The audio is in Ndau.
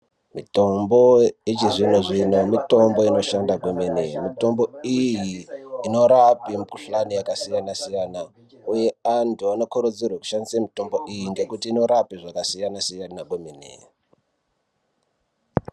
Mitombo yechizvinozvino mitombo inoshanda kwemene mitombo iyi inorape mikhuhlane yakasiyanasiyana uye antu anokurudzirwe kushandise mitombo iyi nekuti inorape zvakasiyanasiyana kwemene.